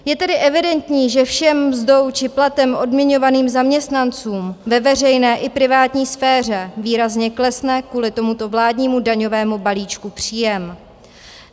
Je tedy evidentní, že všem mzdou či platem odměňovaných zaměstnancům ve veřejné i privátní sféře výrazně klesne kvůli tomuto vládnímu daňovému balíčku příjem.